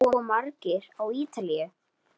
Hvað búa margir á Ítalíu?